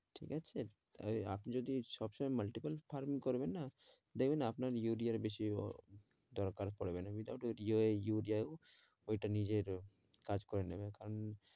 ঠিক আছে ওই আপনি যদি সবসময় multiple farming করবেন না দেখবেন আপনার ইউরিয়ার বেশি দরকার পড়বে না without ইউরিয়াও ওইটা নিজের কাজ করে নেবে